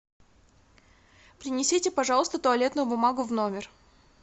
принесите пожалуйста туалетную бумагу в номер